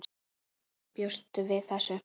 Bjóstu við þessu?